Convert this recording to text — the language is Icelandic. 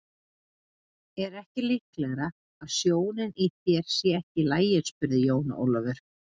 Er ekki líklegara að sjónin í þér sé ekki í lagi spurði Jón Ólafur.